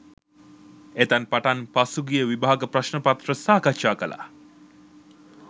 එතැන් පටන් පසුගිය විභාග ප්‍රශ්න පත්‍ර සාකච්ඡා කළා